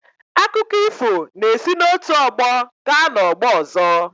Akụkọ ifọ na-esi n’otu ọgbọ gaa n’ọgbọ ọzọ.